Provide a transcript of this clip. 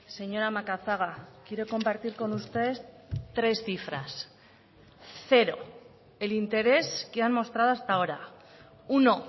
señora macazaga quiero compartir con usted tres cifras cero el interés que han mostrado hasta ahora uno